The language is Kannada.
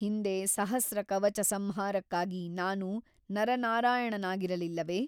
ಹಿಂದೆ ಸಹಸ್ರ ಕವಚ ಸಂಹಾರಕ್ಕಾಗಿ ನಾನು ನರನಾರಾಯಣನಾಗಿರಲಿಲ್ಲವೆ ?